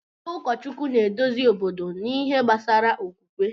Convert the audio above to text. Ndị ụkọchukwu na-eduzi obodo n’ihe gbasara okwukwe.